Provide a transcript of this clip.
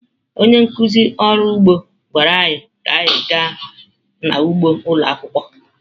Onye nkụzi ọrụ ugbo gwara anyị ka anyị gaa n’ugbo ụlọ akwụkwọ.